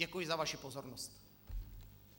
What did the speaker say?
Děkuji za vaši pozornost.